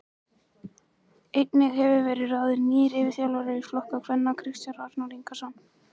Einnig hefur verið ráðin nýr yfirþjálfari yngri flokka kvenna Kristján Arnar Ingason.